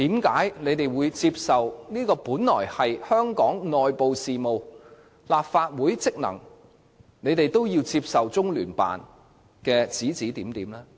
為何面對這些屬於香港內部事務和立法會職能的事情，他們卻甘於接受中聯辦的指指點點？